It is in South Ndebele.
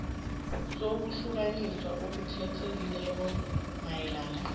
sokuhlukaniswa okukhethekileko mayelana